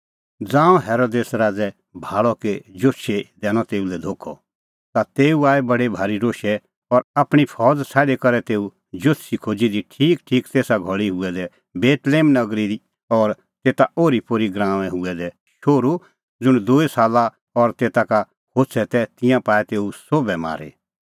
ज़ांऊं हेरोदेस राज़ै भाल़अ कि जोतषी दैनअ तेऊ लै धोखअ ता तेऊ आई बडी भारी रोशै और आपणीं फौज़ छ़ाडी करै तेऊ जोतषी खोज़ी दी ठीकठीक तेसा घल़ी हुऐ दै बेतलेहम नगरी और तेता ओरीपोरी गराऊंऐं हुऐ दै शोहरू ज़ुंण दूई साले और तेता का होछ़ै तै तिंयां पाऐ तेऊ सोभ मारी